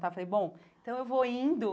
Eu falei, bom, então eu vou indo.